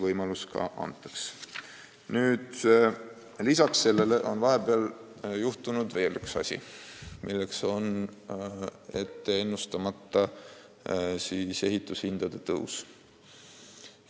Vahepeal on muuseas juhtunud üks ootamatu asi, milleks on ette ennustamata ehitushindade tõus.